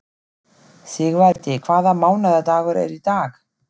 Sigvaldi, hvaða mánaðardagur er í dag?